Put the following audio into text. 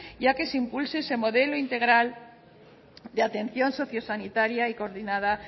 y a que se impulse ese modelo integral de atención sociosanitaria y coordinada